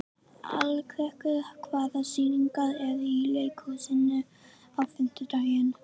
Alrekur, hvaða sýningar eru í leikhúsinu á fimmtudaginn?